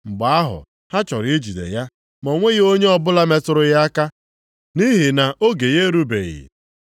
Mgbe ahụ ha chọrọ ijide ya, ma o nweghị onye ọbụla metụrụ ya aka nʼihi na oge ya erubeghị.